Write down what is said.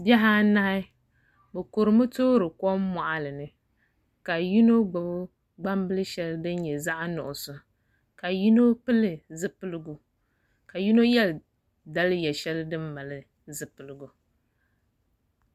Bihi anahi bi kurimi toori kom moɣali ni ka yino gbubi gbambili shɛli din nyɛ zaɣ nuɣso ka yino pili zipiligu ka yino yɛ daliya shɛli din nyɛ din mali zipiligu